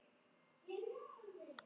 Sýningu lýkur.